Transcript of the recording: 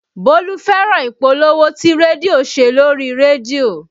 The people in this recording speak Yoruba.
Bólú fẹ́ràn ìpolówó tí rédíò ṣe lórí rédíò